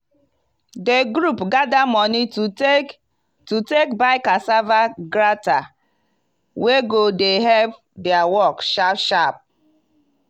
di group gather money to take to take buy cassava grater wey go dey help dia work sharp sharp.